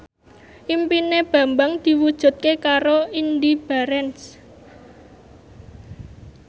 impine Bambang diwujudke karo Indy Barens